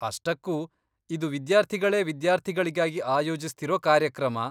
ಅಷ್ಟಕ್ಕೂ, ಇದು ವಿದ್ಯಾರ್ಥಿಗಳೇ ವಿದ್ಯಾರ್ಥಿಗಳಿಗಾಗಿ ಆಯೋಜಿಸ್ತಿರೋ ಕಾರ್ಯಕ್ರಮ.